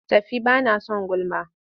Tafi ba na son gulma!